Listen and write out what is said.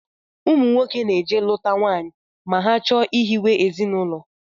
Ụmụnwoke na-eje lụta nwaanyị ma ha chọọ ihiwe ezinụlọ